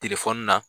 Telefɔni na